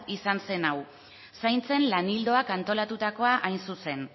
izan zen hau zaintzen lan ildoak antolatutako hain zuzen